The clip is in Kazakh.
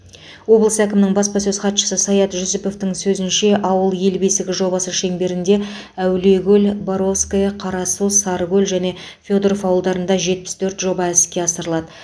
облыс әкімінің баспасөз хатшысы саят жүсіповтің сөзінше ауыл ел бесігі жобасы шеңберінде әулиекөл боровское қарасу сарыкөл және федоров ауылдарында жетпіс төрт жоба іске асырылады